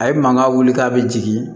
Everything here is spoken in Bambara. A ye mankan wuli k'a bɛ jigin